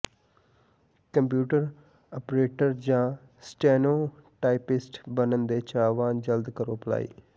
computer operator ਜਾਂ steno typist ਬਣਨ ਦੇ ਚਾਹਵਾਨ ਜਲਦ ਕਰੋ ਅਪਲਾਈ